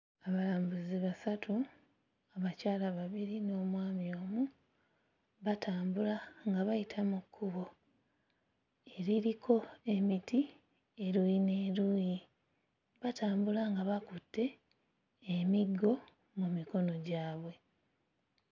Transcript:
Abalambuzi basatu, abakyala babiri n'omwami omu batambula nga bayita mu kkubo eririko emiti eruuyi n'eruuyi, batambula nga bakutte emiggo mu mikono gyabwe.